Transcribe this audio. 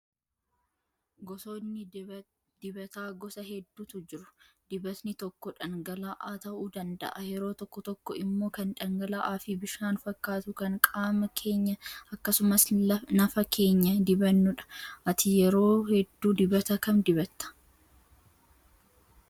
Gosoonni dibataa gosa hedduutu jiru. Dibatni tokko dhangala'aa ta'uu danda'a yeroo tokko tokko immoo kan dhangala'aa fi bishaan fakkaatu kan qaama keenya akkasumas nafa keenya dibannudha. Ati yeroo hedduu dibata kam dibattaa?